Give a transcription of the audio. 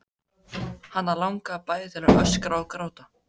Hana langaði bæði til að öskra og gráta.